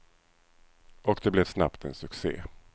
Och det blev snabbt en succé.